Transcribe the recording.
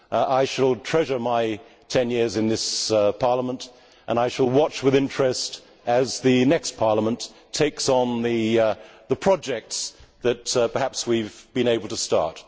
I shall treasure my 10 years in this Parliament, and I shall watch with interest as the next Parliament takes on the projects that perhaps we have been able to start.